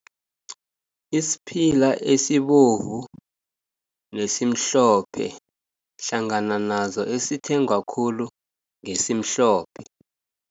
Isiphila esibovu nesimhlophe hlangana nazo, esithengwa khulu ngesimhlophe.